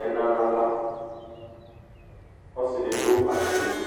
ɛna na xla ɔsidi du atamili